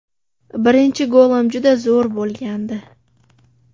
Birinchi golim juda zo‘r bo‘lgandi.